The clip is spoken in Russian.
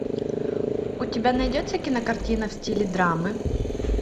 у тебя найдется кинокартина в стиле драмы